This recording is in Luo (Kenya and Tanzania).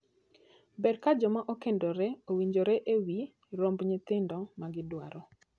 Ber ka joma okendore owinjore e wii romb nyithindo ma gidwaro.